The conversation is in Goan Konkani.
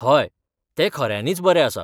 हय, तें खऱ्यांनीच बरें आसा.